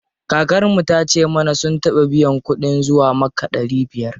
Kakar mu tace mana sun taɓa biyan kuɗin zuwa makka ɗari biyar.